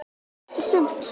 Það var nú allt og sumt.